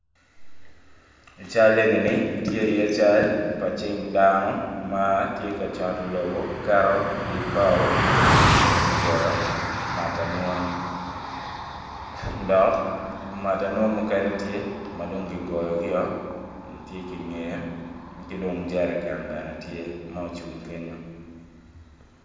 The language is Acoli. Ical eni ni tye i iye cal cing pa dano matye ka coto lobo keto ibao ma gitiyo kede me goyo matanun dok matanun mukene tye madongkigoyogi-o tye ki ngeye ki dong jereken bene tye maocung kenyo.